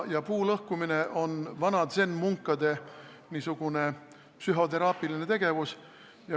Puulõhkumine on vana zen-munkade psühhoteraapiline tegevus.